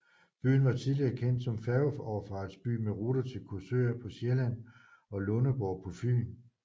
Byen var tidligere kendt som færgeoverfartsby med ruter til Korsør på Sjælland og Lundeborg på Fyn